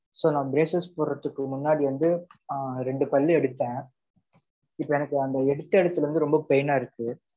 So, நான் braces போடறதுக்கு முன்னாடி வந்து, அ, இரண்டு பல்லு எடுத்தேன். இப்ப எனக்கு, அந்த எடுத்த இடத்துல இருந்து, ரொம்ப pain ஆ இருக்கு.